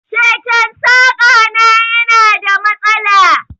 Keken saƙa na yana da mastala.